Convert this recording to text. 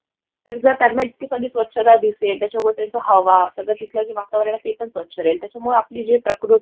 तर जर त्यांना इतकी सारी स्वच्छता दिसेल, त्याच्यामुळे त्यांचा हवा, सगळं तिथलं जे वातावरण आहे तेपण स्वच्छ राहील. त्याच्यामुळे आपली जी प्रकृती आहे